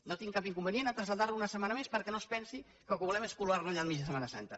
no tinc cap inconvenient a traslladar ho una setmana més perquè no es pensi que el que volem és colar lo allà al mig de setmana santa